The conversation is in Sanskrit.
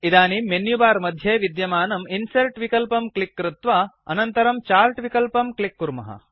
इदानीं मेनु बार् मध्ये विद्यमानं इन्सर्ट् विकल्पं क्लिक् कृत्वा अनन्तरं चार्ट् विकल्पं क्लिक् कुर्मः